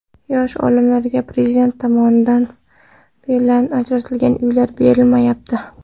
Yosh olimlarga Prezident farmoni bilan ajratilgan uylar berilmayapti.